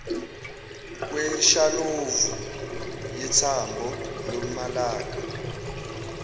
kweshalovu yethambo lomalaka